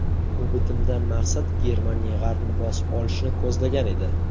Bu bitimdan maqsad Germaniya g‘arbni bosib olishni ko‘zlagan edi.